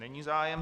Není zájem.